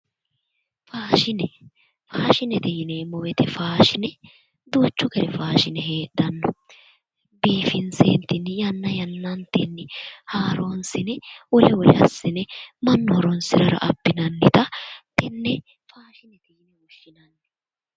Faashine faashinete yineemmo woyiite faashine duuchu gari faashine heedhanno biifinseentinni yanna yannantenni haaroonsinemmo wole wole assinemannu horonsirara abbinannita tenne faashinete yineemmo